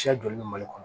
Siyɛ joli bɛ mali kɔnɔ